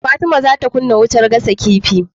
Fatima zata kunna wutar gasa kifi